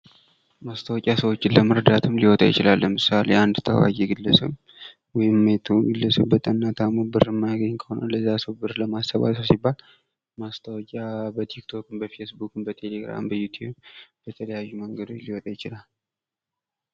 ማስታወቂያ ሰወችን ለመርዳትም ሊወጣ ይችላል። ለምሳሌ፦ አንድ ታዋቂ ግለሰብ ወይም የቱም ሰው በጠና ታሞ ያ ሰው ብር የማያገኝ ከሆነ ለዚያ ሰው ብር ለማሰባሰብ ሲባል ማስታወቂያ በቲክቶክም፣ በፌስቡክም፣ ነቴሌግራም፣ በዩትዩብ በተለያዩ መንገዶች ሊወጣ ይችላል።